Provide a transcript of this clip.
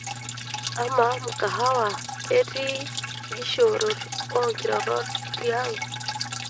amaa mkahawa keetea ikishoorot oo inkirorot tiang'